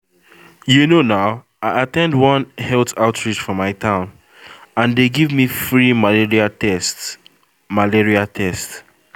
you know na i at ten d one health outreach for my town and dem give me free malaria test malaria test